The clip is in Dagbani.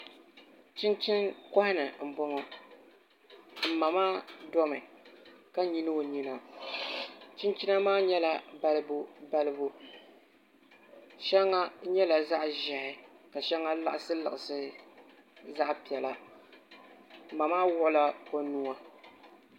Chinchini koha ni n boŋo n ma maa domi ka nyili o nyina chinchina maa nyɛla balibu balibu shɛŋa nyɛla zaɣ ʒiɛhi ka shɛŋa liɣisi liɣisi zaɣ piɛla ma maa wuɣula o nuwa